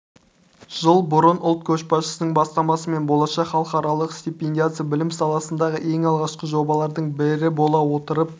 жыл бұрын ұлт көшбасшысының бастамасымен болашақ халықаралық стипендиясы білім саласындағы ең алғашқы жобалардың бірі бола отырып